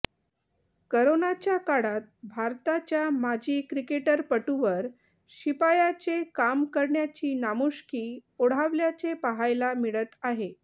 करोनाच्या काळात भारताच्या माजी क्रिकेटपटूवर शिपायाचे काम करण्याची नामुष्की ओढावल्याचे पाहायला मिळत आहे